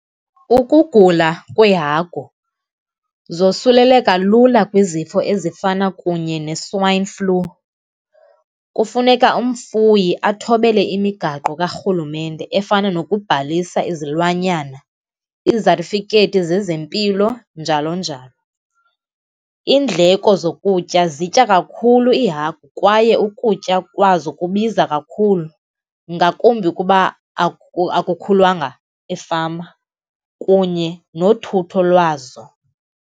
Ukugula kweehagu zosuleleka lula kwizifo ezifana kunye ne-swine flu. Kufuneka umfuyi athobele imigaqo karhulumente efana nokubhalisa izilwanyana, izatifikhethi zezempilo, njalo njalo. Iindleko zokutya, zitya kakhulu iihagu kwaye ukutya kwazo kubiza kakhulu, ngakumbi ukuba akukhulanga efama, kunye nothutholwazo.